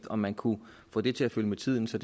om man kunne få det til at følge med tiden så